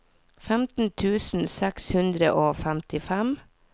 femten tusen seks hundre og femtifem